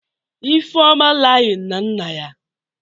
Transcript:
Ifeoma Iying na nna ya?